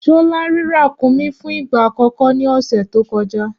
Ṣọlá rí kàkúnmí fún ìgbà àkọ́kọ́ ní ọ̀sẹ̀ tó kọjá.